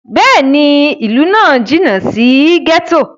Bẹ́ẹ̀ni, ilu nla náa jinna si gẹto.